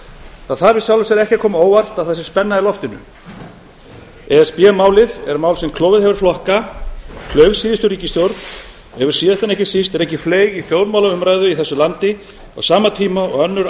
það þarf í sjálfu sér ekki að koma á óvart að það sé spenna í loftinu e s b málið er mál sem klofið hefur flokka klauf síðustu ríkisstjórn og hefur síðast en ekki síst rekið fleyg í þjóðmálaumræðu í þessu landi á sama tíma og önnur